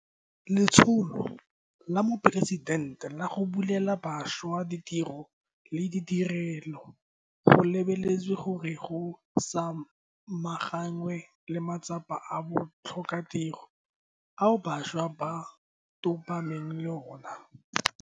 Letsholo la Moporesitente la go Bulela Bašwa Ditiro le dirilwe go lebeletswe gore go samaganwe le matsapa a botlhokatiro ao bašwa ba tobaneng le ona.